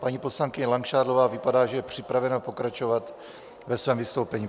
Paní poslankyně Langšádlová vypadá, že je připravena pokračovat ve svém vystoupení.